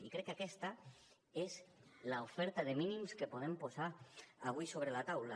i crec que aquesta és l’oferta de mínims que podem posar avui sobre la taula